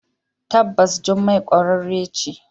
Tabbas jummai kwararre ce.